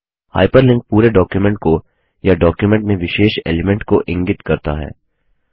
hyperlink पूरे document को या डॉक्युमेंट में विशिष्ट एलिमेंट को इंगित करता है